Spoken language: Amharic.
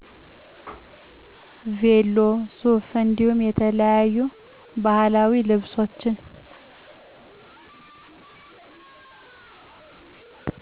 ቬሎ፣ ሱፍ እንዲሁም የተለያዩ ባህላዊ ልብሶች።